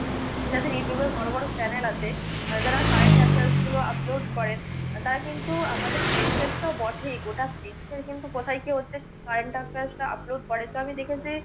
যাদের youtube এ বড় বড় channel আছে। যারা current affairs গুলো upload করে, তা কিন্তু আমাদের দেশের তো বটেই গোটা দেশে কিন্তু কোথায় কি হচ্ছে current affairs টা upload করে তো আমি দেখতে চাই